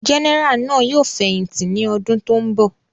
Gẹ́nẹrà náà yóò fẹ̀yìntì ní ọdún tó ń bọ̀.